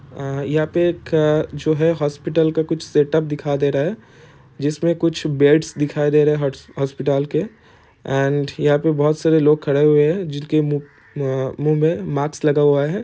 अ यहाँ पे एक जो है हॉस्पिटल का कुछ सेटअप दिखा दे रहा है। जिस में कुछ बेड्स दिखाई दे रहे है। हॉट्स हॉस्पिटल्स के एंड यहाँ पे बहुत सारे लोग खड़े हुए है। जिन के मुँह में मास्क लगा हुआ है।